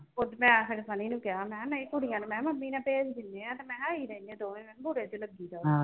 ਮੈਂ ਫਿਰ ਸਨੀ ਨੂੰ ਕਿਹਾ ਮੈਂ ਨਹੀਂ ਕੁੜੀਆਂ ਨੂੰ ਮੈਂ ਮੰਮੀ ਨਾਲ ਭੇਜ ਦੇ ਨੇ ਆ ਤੇ ਮੈਂ ਹਾ ਅਹੀ ਰਹਿੰਦੇ ਦੋਨੇ ਮੈਂ ਹਾ ਬੁਰੇ ਜੇ ਲੱਗੀਦਾ ਵਾ